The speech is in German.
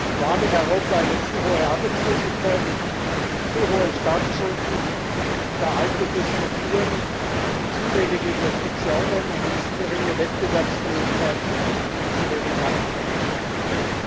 Wir haben in Europa eine zu hohe Arbeitslosigkeit, zu hohe Staatsschulden, veraltete Strukturen, zu wenige Investitionen, eine zu geringe Wettbewerbsfähigkeit und zu wenig Wachstum und Beschäftigung.